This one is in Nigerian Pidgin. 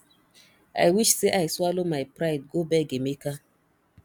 i wish say i swallow my pride go beg emeka